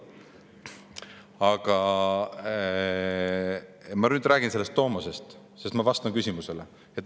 Aga ma räägin nüüd tomosest, sest ma vastan küsimusele.